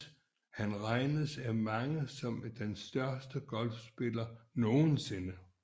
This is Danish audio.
Han regnes af mange som den største golfspiller nogensinde